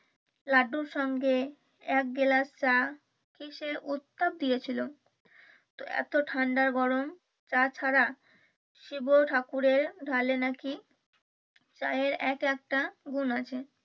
লাড্ডূর সঙ্গে এক গ্লাস চা কিসের উত্তর দিয়েছিলো। তো এত ঠান্ডা গরম চা ছাড়া শিব ঠাকুরের ঢালে নাকি চায়ের এক একটা গুন আছে।